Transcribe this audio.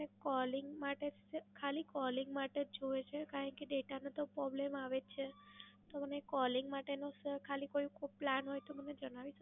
Calling માટે ખાલી Calling માટે જોઈએ છે, કારણ કે Data નો તો Problem આવે છે. તો મને Calling માટેનું ખાલી કોઈ Plan હોય તો મને જણાવી શકો છો?